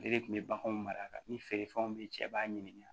Ale de kun bɛ baganw mara ka ni feere fɛnw bɛ ye cɛ b'a ɲininka